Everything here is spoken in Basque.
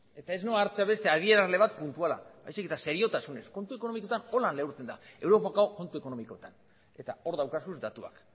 eta ez noa hartzera beste adierazle bat puntuala baizik eta seriotasunez kontu ekonomikoetan horrela neurtzen da europako kontu ekonomikoetan eta hor dauzkagu datuak